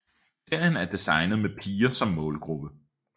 Serien er designet med piger som målgruppe